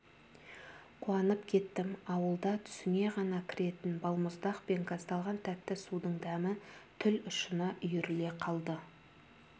қуанып кеттім ауылда түсіңе ғана кіретін балмұздақ пен газдалған тәтті судың дәмі тіл ұшына үйіріле қалды